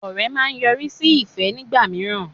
Ọ̀rẹ́ máa ń yọrí sí ìfẹ́ nígbà míràn